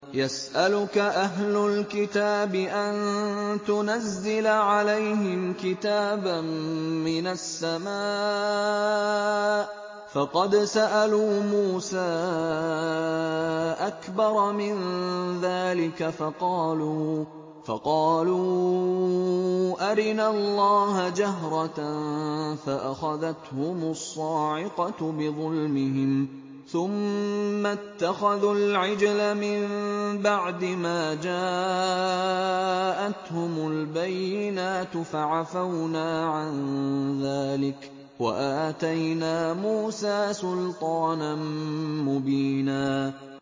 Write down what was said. يَسْأَلُكَ أَهْلُ الْكِتَابِ أَن تُنَزِّلَ عَلَيْهِمْ كِتَابًا مِّنَ السَّمَاءِ ۚ فَقَدْ سَأَلُوا مُوسَىٰ أَكْبَرَ مِن ذَٰلِكَ فَقَالُوا أَرِنَا اللَّهَ جَهْرَةً فَأَخَذَتْهُمُ الصَّاعِقَةُ بِظُلْمِهِمْ ۚ ثُمَّ اتَّخَذُوا الْعِجْلَ مِن بَعْدِ مَا جَاءَتْهُمُ الْبَيِّنَاتُ فَعَفَوْنَا عَن ذَٰلِكَ ۚ وَآتَيْنَا مُوسَىٰ سُلْطَانًا مُّبِينًا